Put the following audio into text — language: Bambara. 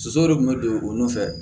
Soso de tun bɛ don o nɔfɛ